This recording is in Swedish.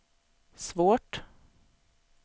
svårt